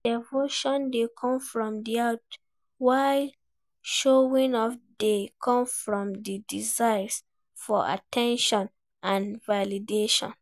Devotion dey come from di heart, while showing off dey come from di desire for at ten tion and validation.